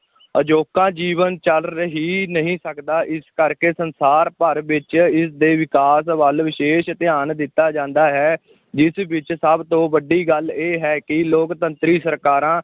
ਅਜੋਕਾ ਜੀਵਨ ਚੱਲ ਹੀ ਨਹੀਂ ਸਕਦਾ, ਇਸੇ ਕਰਕੇ ਸੰਸਾਰ ਭਰ ਵਿਚ ਇਸ ਦੇ ਵਿਕਾਸ ਵੱਲ ਵਿਸ਼ੇਸ਼ ਧਿਆਨ ਦਿੱਤਾ ਜਾਂਦਾ ਹੈ ਜਿਸ ਵਿੱਚ ਸਭ ਤੋਂ ਵੱਡੀ ਗੱਲ ਇਹ ਹੈ ਕਿ ਲੋਕਤੰਤਰੀ ਸਰਕਾਰਾਂ